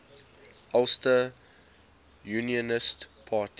ulster unionist party